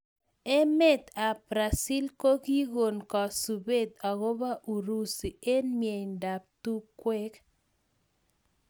Emet ab brazil kokikon kasubet akobo urusi eng mnyendo ab tungwek.